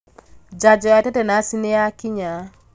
Janjo ya tetanaci nīyakinya